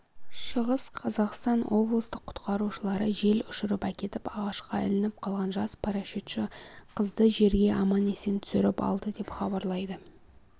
шығыс қазақстан облыстық құтқарушылары жел ұшырып әкетіп ағашқа ілініп қалған жас парашютші қызды жерге аман-есен түсіріп алды деп хабарлайды